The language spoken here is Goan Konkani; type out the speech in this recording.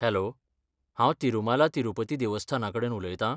हॅलो! हांव तिरुमाला तिरुपति देवस्थानाकडेन उलयतां?